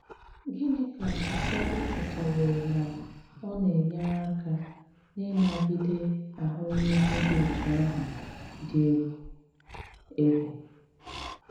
Gịnị ka ụfọdụ chòtàwòrò na ọ na-enyère àka n’ịnagìdé àhụ̀mìhè dị otú àhụ̀ dị ègwù? ègwù?